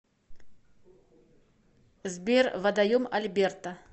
сбер водоем альберта